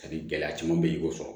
A ni gɛlɛya caman bɛ yen i y'o sɔrɔ